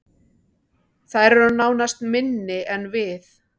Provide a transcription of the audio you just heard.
Þær eru nánast minni en við